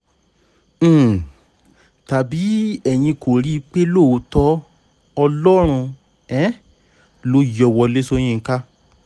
um tàbí ẹ̀yin kò rí i pé lóòótọ́ ọlọ́run um ló yọ wọlé sọ̀yìnkà